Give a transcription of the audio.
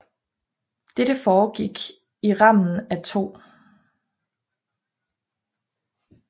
Dette foregik i rammen af 2